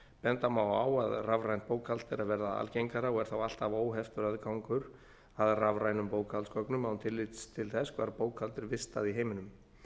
benda má á að rafrænt bókhald er að verða algengara og er þá alltaf óheftur aðgangur að rafrænum bókhaldsgögnum án tillits til þess hvar bókhald er vistað í heiminum